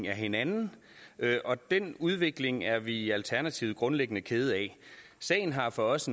af hinanden og den udvikling er vi i alternativet grundlæggende kede af sagen har for os